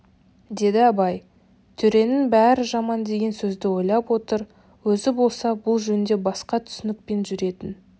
деді абай төренің бәрі жаман деген сөзді ойлап отыр өзі болса бұл жөнде басқа түсінікпен жүретін